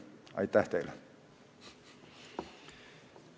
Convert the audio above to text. Aitäh teile!